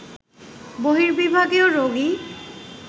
বর্হিবিভাগেও রোগী